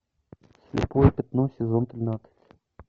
слепое пятно сезон тринадцать